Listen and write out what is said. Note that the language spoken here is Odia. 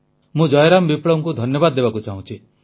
ମୁଁ ଜୟରାମ ବିପ୍ଳବଙ୍କୁ ଧନ୍ୟବାଦ ଦେବାକୁ ଚାହୁଁଛି